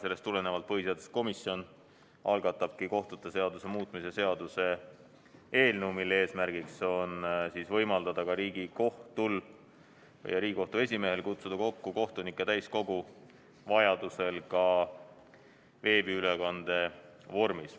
Sellest tulenevalt algatab põhiseaduskomisjon kohtute seaduse muutmise seaduse eelnõu, mille eesmärk on võimaldada Riigikohtul ja Riigikohtu esimehel kutsuda kokku kohtunike täiskogu vajaduse korral veebiülekande vormis.